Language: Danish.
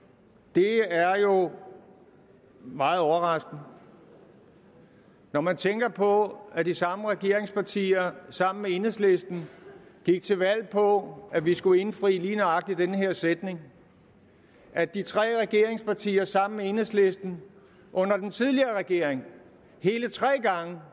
det er jo meget overraskende når man tænker på at de samme regeringspartier sammen med enhedslisten gik til valg på at vi skulle indfri lige nøjagtig den her sætning at de tre regeringspartier sammen med enhedslisten under den tidligere regering hele tre gange